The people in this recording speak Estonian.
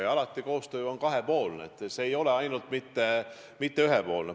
Ja koostöö on alati kahepoolne, see ei ole ühepoolne.